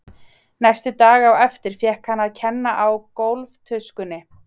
Næstu daga á eftir fékk hann að kenna á gólftuskunni.